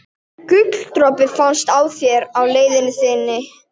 Á sér langa og merka sögu.